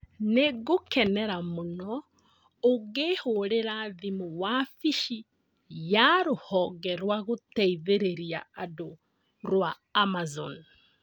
Nĩ ngũkenera mũno ũngĩhũrĩra thimũ wabici ya rũhonge rwa gũteithĩrĩria andũ rũa Amazon